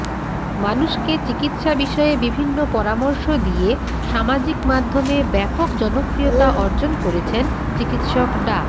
মানুষকে চিকিৎসা বিষয়ে বিভিন্ন পরামর্শ দিয়ে সামাজিকমাধ্যমে ব্যাপক জনপ্রিয়তা অর্জন করেছেন চিকিৎসক ডা